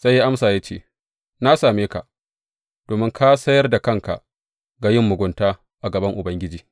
Sai ya amsa ya ce, Na same ka, domin ka sayar da kanka ga yin mugunta a gaban Ubangiji.